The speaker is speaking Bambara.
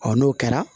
n'o kɛra